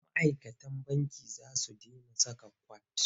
Ma'aikatan banki za su dena saka kwat.